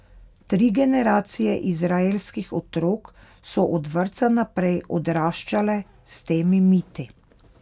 Tri generacije izraelskih otrok so od vrtca naprej odraščale s temi miti.